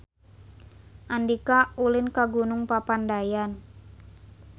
Andika ulin ka Gunung Papandayan